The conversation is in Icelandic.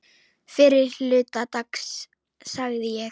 Fyrri hluta dags sagði ég.